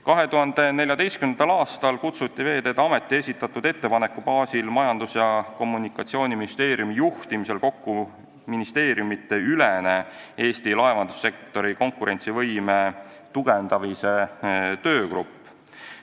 2014. aastal kutsuti Veeteede Ameti esitatud ettepaneku baasil Majandus- ja Kommunikatsiooniministeeriumi juhtimisel kokku ministeeriumidevaheline Eesti laevandussektori konkurentsivõime tugevdamise töögrupp.